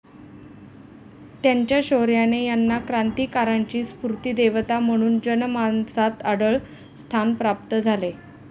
त्यांच्या शौर्याने यांना 'क्रांतीकारांची स्फूर्तिदेवता' म्हणून जनमानसात अढळ स्थान प्राप्त झाले.